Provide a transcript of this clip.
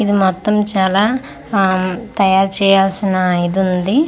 ఇది మొత్తం చాలా ఆ తయారు చేయాల్సిన ఇదుంది.